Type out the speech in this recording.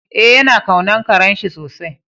Eh, ya na kaunan karen shi sosai.